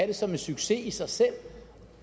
det som en succes i sig selv